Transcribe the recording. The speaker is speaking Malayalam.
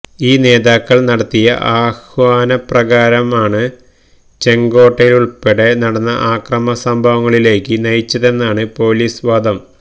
ഈ നേതാക്കള് നടത്തിയ ആഹ്വാന പ്രകാരമാണ് ചെങ്കോട്ടയിലുള്പ്പെടെ നടന്ന അക്രമ സംഭവങ്ങളിലേക്ക് നയിച്ചതെന്നാണ് പോലിസ് വാദം